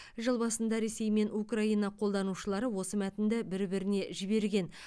жыл басында ресей мен украина қолданушылары осы мәтінді бір біріне жіберген